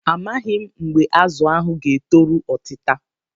A maghị m mgbe azụ ahụ ga-etoru otita.